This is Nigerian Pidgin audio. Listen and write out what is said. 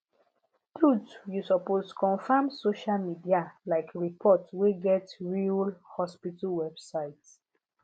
truth you supoosed confirm social media like report wey get real hospital website